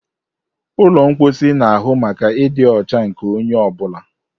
Ụlọ mposi na-ahụ maka ịdị ọcha nke onye ọ bụla.